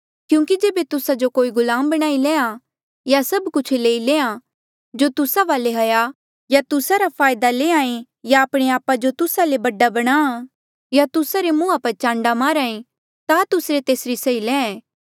क्यूंकि जेबे तुस्सा जो कोई गुलाम बणाई लैंहां या सब कुछ लेई लेया जो तुस्सा वाले हाया या तुस्सा रा फायदा लैंहां ऐें या आपणे आपा जो तुस्सा ले बडा बणाहां या तुस्सा रे मुंहा पर चांडा मारहा ता तुस्से तेसरी सही लैंहां ऐें